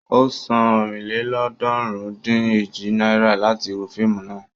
Ó san ọ̀rìnlélọ́ọ̀ọ́dúnrún-dín-èjì náírà láti wo fíìmù náà.